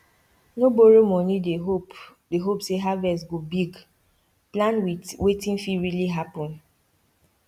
no borrow money dey hope dey hope say harvest go big plan with wetin fit really happen